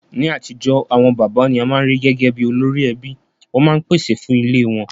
Ní atijọ́, àwon bàbá ni a ma n ri gẹgẹ bi olórí ẹbí, won ma n pèsè fun ilé won